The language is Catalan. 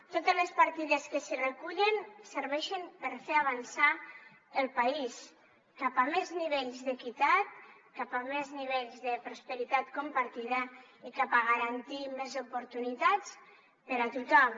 totes les partides que s’hi recullen serveixen per fer avançar el país cap a més nivells d’equitat cap a més nivells de prosperitat compartida i cap a garantir més oportunitats per a tothom